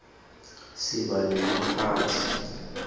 siba nemaphathi